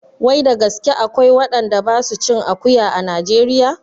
Wai da gaske akwai waɗanda ba su cin akuya a najeriya?